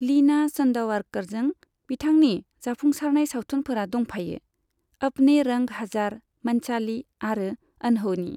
लीना चंदावरकरजों बिथांनि जाफुंसारनाय सावथुनफोराव दंफायो 'अपने रंग हजार', 'मनचालि' आरो 'अनहोनी'।